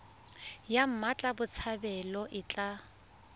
ya mmatla botshabelo e tla